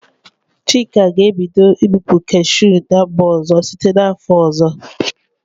Chika ga-ebido ibupu kashụ n'mba ọzọ site n 'afọ ọzọ.